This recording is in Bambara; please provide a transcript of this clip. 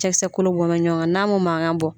Cɛkisɛ kolo bɔn bɛ ɲɔgɔn kan n'a m'u mankan bɔ.